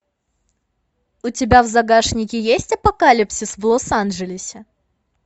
у тебя в загашнике есть апокалипсис в лос анджелесе